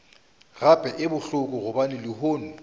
gape e bohloko gobane lehono